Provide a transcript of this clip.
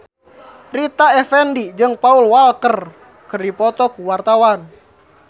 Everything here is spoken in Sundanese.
Rita Effendy jeung Paul Walker keur dipoto ku wartawan